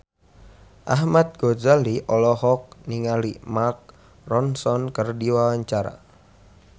Ahmad Al-Ghazali olohok ningali Mark Ronson keur diwawancara